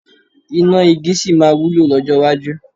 Iná igi sì máa wúlò lọ́jọ́ iwájú.